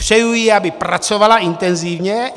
Přeju jí, aby pracovala intenzivně.